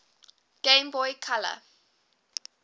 game boy color